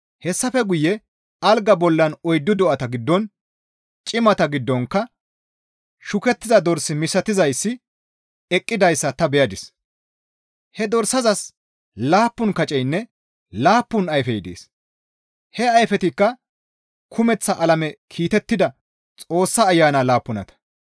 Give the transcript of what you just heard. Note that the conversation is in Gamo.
Hessafe guye algaa bollan oyddu do7ata giddon cimata giddonkka shukettida dors misatizayssi eqqidayssa ta beyadis; he dorsazas laappun kaceynne laappun ayfey dees; he ayfetikka kumeththa alame kiitettida Xoossa Ayana laappunata.